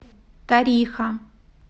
тариха